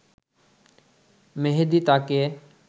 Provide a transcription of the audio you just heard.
মেহেদী তাকে